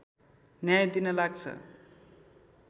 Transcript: न्याय दिन लाग्छ